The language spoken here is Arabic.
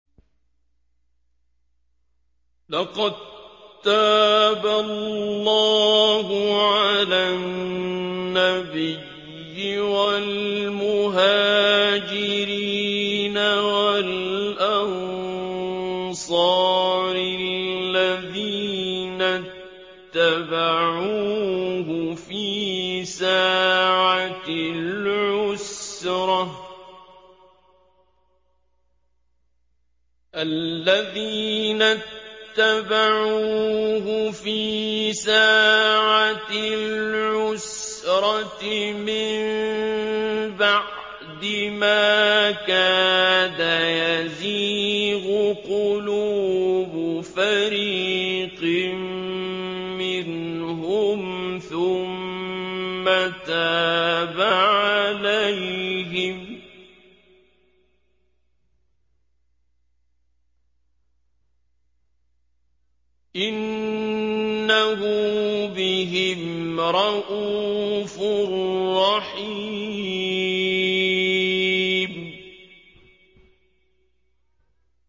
لَّقَد تَّابَ اللَّهُ عَلَى النَّبِيِّ وَالْمُهَاجِرِينَ وَالْأَنصَارِ الَّذِينَ اتَّبَعُوهُ فِي سَاعَةِ الْعُسْرَةِ مِن بَعْدِ مَا كَادَ يَزِيغُ قُلُوبُ فَرِيقٍ مِّنْهُمْ ثُمَّ تَابَ عَلَيْهِمْ ۚ إِنَّهُ بِهِمْ رَءُوفٌ رَّحِيمٌ